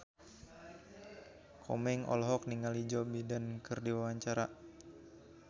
Komeng olohok ningali Joe Biden keur diwawancara